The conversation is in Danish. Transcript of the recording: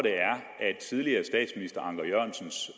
tidligere statsminister anker jørgensens